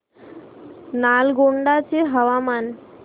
नालगोंडा चे हवामान